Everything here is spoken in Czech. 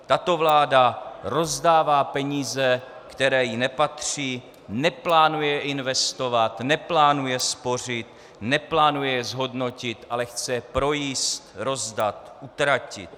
Tato vláda rozdává peníze, které jí nepatří, neplánuje investovat, neplánuje spořit, neplánuje zhodnotit, ale chce projíst, rozdat, utratit.